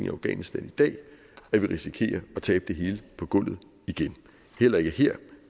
i afghanistan i dag at vi risikerer at tabe det hele på gulvet igen heller ikke her